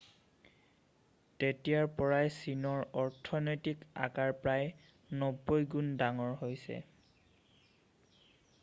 তেতিয়াৰ পৰাই চীনৰ অৰ্থনৈতিক আকাৰ প্ৰায় 90 গুণ ডাঙৰ হৈছে